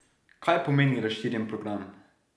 Kaj pomeni razširjeni program?